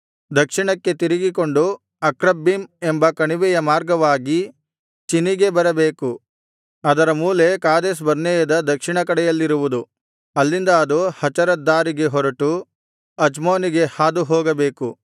ದಕ್ಷಿಣಕ್ಕೆ ತಿರುಗಿಕೊಂಡು ಅಕ್ರಬ್ಬೀಮ್ ಎಂಬ ಕಣಿವೆಯ ಮಾರ್ಗವಾಗಿ ಚಿನಿಗೆ ಬರಬೇಕು ಅದರ ಮೂಲೆ ಕಾದೇಶ್ ಬರ್ನೇಯದ ದಕ್ಷಿಣದ ಕಡೆಯಲ್ಲಿರಬೇಕು ಅಲ್ಲಿಂದ ಅದು ಹಚರದ್ದಾರಿಗೆ ಹೊರಟು ಅಚ್ಮೋನಿಗೆ ಹಾದು ಹೋಗಬೇಕು